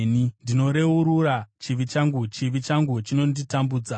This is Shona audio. Ndinoreurura chivi changu; chivi changu chinonditambudza.